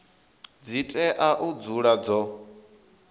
dzi tea u dzula dzo